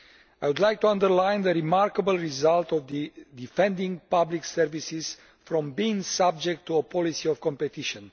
I would like to underline the remarkable result of defending public services from being subject to a policy of competition.